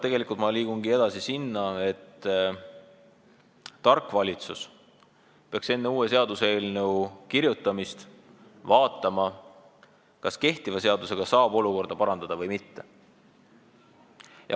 Ja ma liigungi edasi sinna, et tark valitsus peaks enne uue seaduseelnõu kirjutamist vaatama, kas kehtiva seadusega saab olukorda parandada või mitte.